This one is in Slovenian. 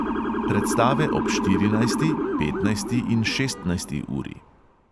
Predstave ob štirinajsti, petnajsti in šestnajsti uri.